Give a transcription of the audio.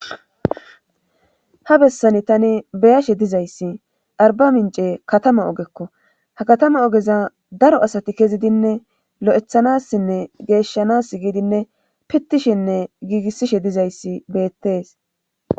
ha bessani tani beyashe dizayssi arba mince katama ogekko ha katama ogeza daro asati kezidinne lo7ethanassinne geeshshanas giidinne pittishinne giigissishe dizayssi beettees